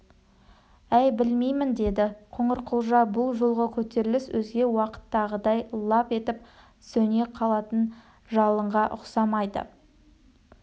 әй білмеймін деді қоңырқұлжа бұл жолғы көтеріліс өзге уақыттағыдай лап етіп жанып сөне қалатын жалынға ұқсамайды